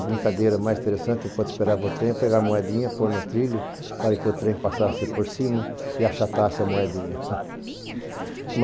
A brincadeira mais interessante, enquanto esperava o trem, era pegar a moedinha, pôr no trilho para que o trem passasse por cima e achatasse a moedinha.